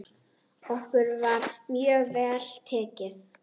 Okkur var mjög vel tekið.